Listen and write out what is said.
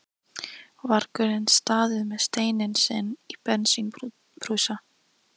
vargurinn staðið með steininn sinn og bensínbrúsa.